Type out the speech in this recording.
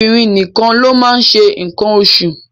Obìnrin nìkan ló máa ń ṣe nǹkan oṣù